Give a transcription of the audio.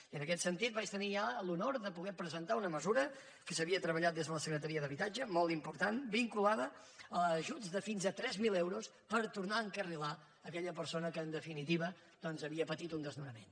i en aquest sentit vaig tenir ja l’honor de poder presentar una mesura que s’havia treballat des de la secretaria d’habitatge molt important vinculada a ajuts de fins a tres mil euros per tornar a encarrilar aquella persona que en definitiva doncs havia patit un desnonament